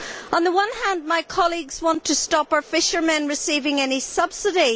On the one hand, my colleagues want to stop our fishermen receiving any subsidy.